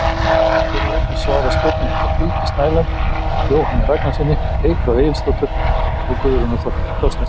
Hér er einnig svarað spurningum frá Hildi Snæland, Jóhanni Ragnarssyni, Eygló Egilsdóttur og Guðrúnu Þorsteinsdóttur.